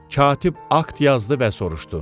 Katib akt yazdı və soruşdu.